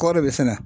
Kɔɔri bɛ sɛnɛ